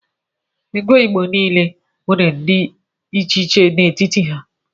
Ego igbo nile nwere ndi iche di n' etiti ha.